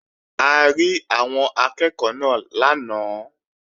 A rí àwọn akẹ́ẹ̀kọ́ náà lánàá